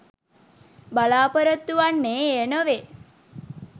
බලාපොරොතු වන්නේ එය නොවේ